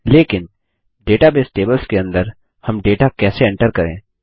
लेकिन database tables के अंदर हम डेटा कैसे एंटर करें